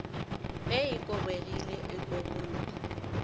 ge e kobegile e kobollwa